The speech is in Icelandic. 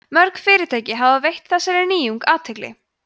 mörg fyrirtæki hafa veitt þessari nýjung athygli